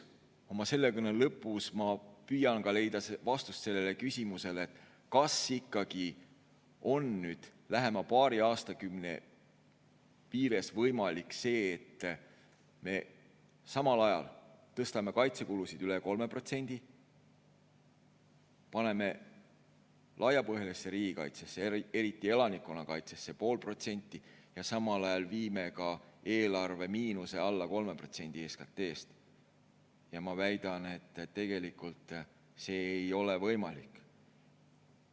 Aga oma selle kõne lõpus püüan ma leida vastust sellele küsimusele, kas ikkagi on lähema paari aastakümne jooksul võimalik see, et me samal ajal tõstame kaitsekulusid üle 3%, paneme laiapõhjalisse riigikaitsesse, eriti elanikkonnakaitsesse, 0,5% ja samal ajal viime ka eelarvemiinuse alla 3% SKT‑st. Ma väidan, et tegelikult ei ole see võimalik.